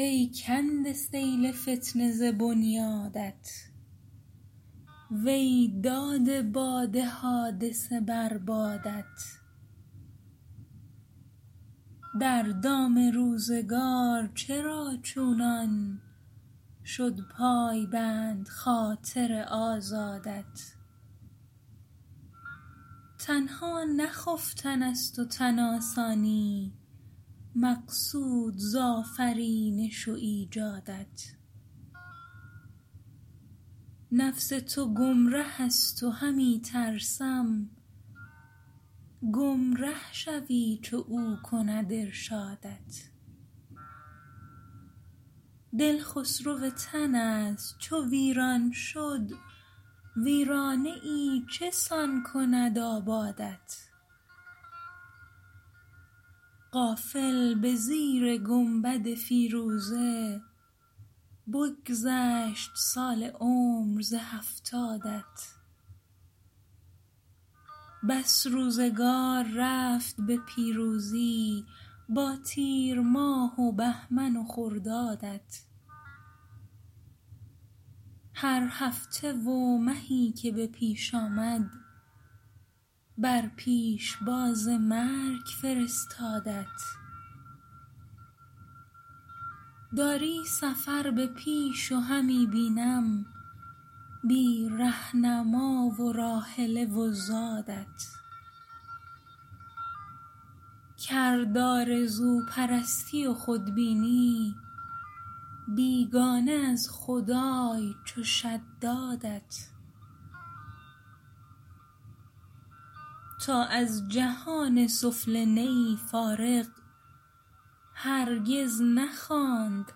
ای کنده سیل فتنه ز بنیادت وی داده باد حادثه بر بادت در دام روزگار چرا چونان شد پایبند خاطر آزادت تنها نه خفتن است و تن آسانی مقصود ز آفرینش و ایجادت نفس تو گمره است و همی ترسم گمره شوی چو او کند ارشادت دل خسرو تن است چو ویران شد ویرانه ای چسان کند آبادت غافل بزیر گنبد فیروزه بگذشت سال عمر ز هفتادت بس روزگار رفت به پیروزی با تیرماه و بهمن و خردادت هر هفته و مهی که به پیش آمد بر پیشباز مرگ فرستادت داری سفر به پیش و همی بینم بی رهنما و راحله و زادت کرد آرزو پرستی و خود بینی بیگانه از خدای چو شدادت تا از جهان سفله نه ای فارغ هرگز نخواند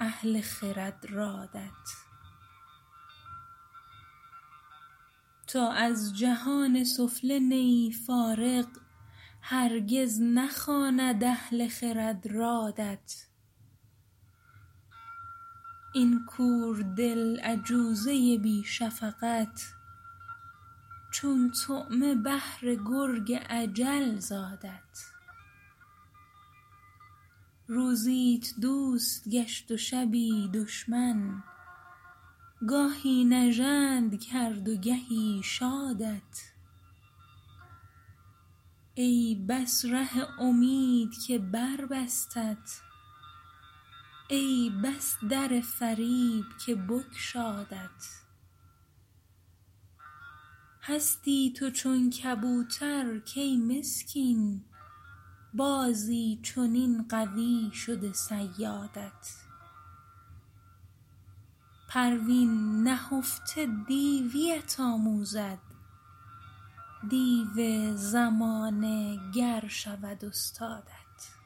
اهل خرد رادت این کور دل عجوزه بی شفقت چون طعمه بهر گرگ اجل زادت روزیت دوست گشت و شبی دشمن گاهی نژند کرد و گهی شادت ای بس ره امید که بربستت ای بس در فریب که بگشادت هستی تو چون کبوترکی مسکین بازی چنین قوی شده صیادت پروین نهفته دیویت آموزد دیو زمانه گر شود استادت